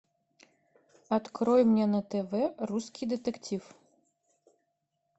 открой мне на тв русский детектив